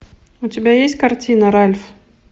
у тебя есть картина ральф